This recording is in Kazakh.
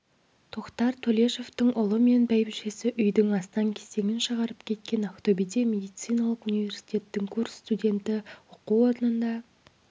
тоқтар төлешовтың ұлы мен бәйбішесі үйдің астаң-кестеңін шығарып кеткен ақтөбеде медициналық университеттің курс студенті оқу орнында